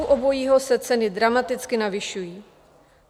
U obojího se ceny dramaticky navyšují.